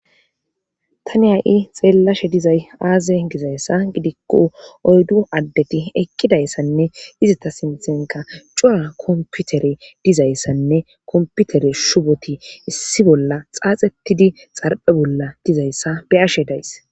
ta ni ha7i xeellashe dizay aaze gizayssa gidikko oyddu addeti ekkidayssanne izata sinthenka cora komputere dizayssanne komputere shuboti issi bolla xaaxettidi xarphe bolla dizayssa be'ashe days